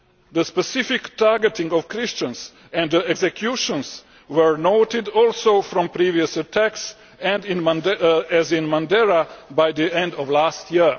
The specific targeting of Christians and the executions were noted also from previous attacks, as in Mandera by the end of last year.